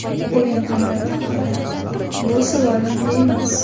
O‘yin amaliyoti haqida Bu savol menga emas.